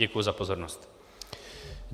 Děkuji za pozornost.